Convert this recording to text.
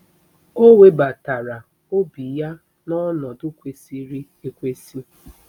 O webatara obi ya n'ọnọdụ kwesịrị ekwesị